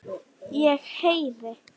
Ég heyri.